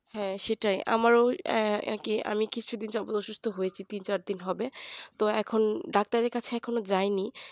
হ্যাঁ সেটাই আমারও একই রকম অসুস্থ হয়েছি তিন চার দিন হবে তো এখন ডাক্তারের কাছে এখনো যায়নি